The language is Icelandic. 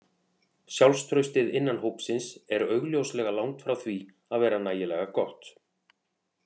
Sjálfstraustið innan hópsins er augljóslega langt frá því að vera nægilega gott.